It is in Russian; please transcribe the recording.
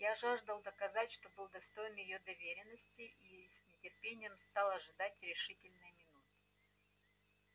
я жаждал доказать что был достоин её доверенности и с нетерпением стал ожидать решительной минуты